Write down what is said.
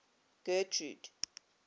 getrude